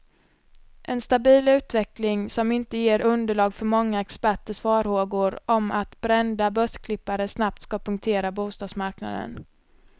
En stabil utveckling, som inte ger underlag för många experters farhågor om att brända börsklippare snabbt ska punktera bostadsmarknaden.